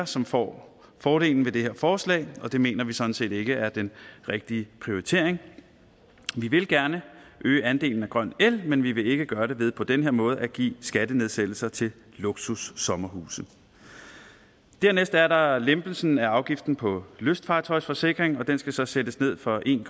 som får fordelen af det her forslag og det mener vi sådan set ikke er den rigtige prioritering vi vil gerne øge andelen af grøn el men vi vil ikke gøre det ved på den her måde at give skattenedsættelser til luksussommerhuse dernæst er der lempelsen af afgiften på lystfartøjsforsikring og den skal så sættes ned fra en